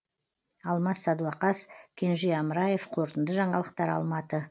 алмас садуақас кенже амраев қорытынды жаңалықтар алматы